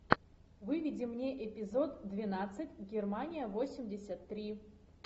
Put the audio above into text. выведи мне эпизод двенадцать германия восемьдесят три